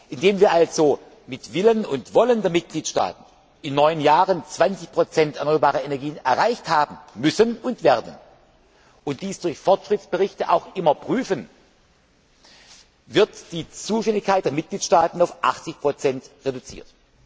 Indem wir also mit Willen und Wollen der Mitgliedstaaten in neun Jahren 20 erneuerbare Energien erreicht haben müssen und werden, und dies durch Fortschrittsberichte auch immer prüfen, wird die Zuständigkeit der Mitgliedstaaten auf 80 reduziert.